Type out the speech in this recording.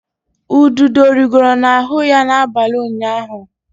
Ududo rigoro n'ahụ ya n'abalị ụnyaahụ.